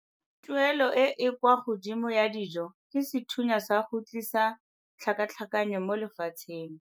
Tuelo e e kwa godimo ya dijo ke sethunya sa go tlisa tlhakatlhakanyo mo lefatsheng.